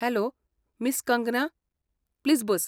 Hello miss Kangana, please bus.